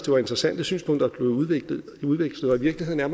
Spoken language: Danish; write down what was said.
var interessante synspunkter der blev udvekslet i virkeligheden er